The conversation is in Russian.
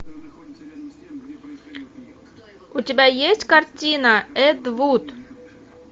у тебя есть картина эд вуд